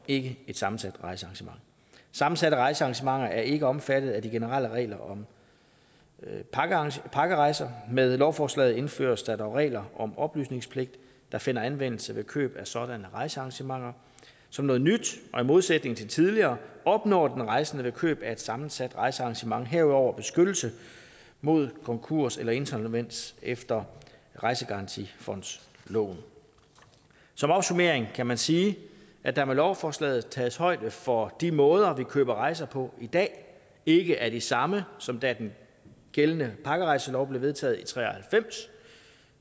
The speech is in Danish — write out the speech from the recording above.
ikke et sammensat rejsearrangement sammensatte rejsearrangementer er ikke omfattet af de generelle regler om pakkerejser med lovforslaget indføres der dog regler om oplysningspligt der finder anvendelse ved køb af sådanne rejsearrangementer som noget nyt og i modsætning til tidligere opnår den rejsende ved køb af et sammensat rejsearrangement herudover beskyttelse mod konkurs eller insolvens efter rejsegarantifondsloven som opsummering kan man sige at der med lovforslaget tages højde for at de måder vi køber rejser på i dag ikke er de samme som da den gældende pakkerejselov blev vedtaget i